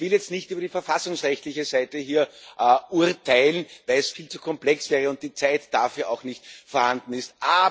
Ich will jetzt hier nicht über die verfassungsrechtliche Seite urteilen, weil es viel zu komplex wäre und die Zeit dafür auch nicht vorhanden ist.